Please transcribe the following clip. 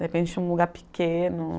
De repente tinha um lugar pequeno.